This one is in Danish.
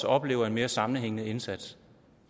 oplever en mere sammenhængende indsats